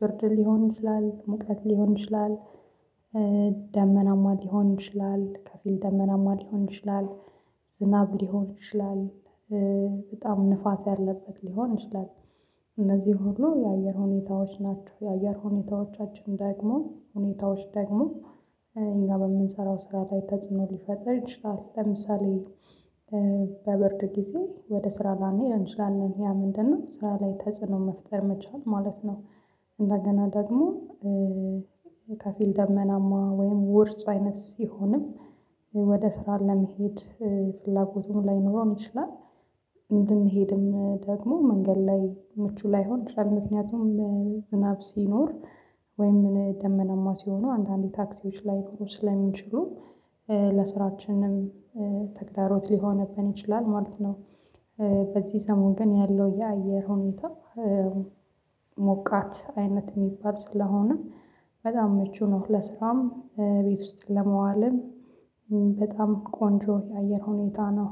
ብርድ ሊሆን ይችላል ሙቀት ሊሆን ይችላል። ደመናማ ሊሆን ይችላል ከፊል ደመናማ ሊሆን ይችላል። ዝናብ ሊሆን ይችላል። በጣም ንፋስ ያለበት ሊሆን ይችላል። እነዚህ ሆኖ የአየር ሁኔታዎች ናቸው። የአየር ሁኔታዎቻችን ደግሞ ሁኔታዎች ደግሞ እኛ በምንሰራው ስራ ላይ ተጽኖ ሊፈጥር ይችላል። ለምሳሌ በብርድ ጊዜ ወደ ስራ ላንሄድ እንችላለን ያ ምንድነው ስራ ላይ ተጽዕኖ መፍጠር መቻል ማለት ነው። እንደገና ደግሞ ከፊል ደመናማ ወይም ውርጭ አይነት ሲሆን ወደ ስራ ለመሄድ ፍላጎቱም ላይኖረን ይችላል። አንዳንድ ጊዜ ደግሞ መንገድ ላይ ምቹ ላይሆን ይችላል ምክንያቱም። ዝናብ ሲኖር ወይም ደመናማ ሲሆኑ አንዳንዴ ታክሲዎች ላይ ብሩን ሊጨምሩ ስለሚችሉ ለስራችንም ተግዳሮት ሊሆንብን ይችላል ማለት ነው። በዚህ ሰሞን ግን ያለው የአየር ሁኔታ ሞቃት አይነት የሚባል ስለሆነም በጣም ምቹ ነው። ለስራም ቤት ውስጥ ለመዋልም በጣም ቆንጆ የአየር ሁኔታ ነው።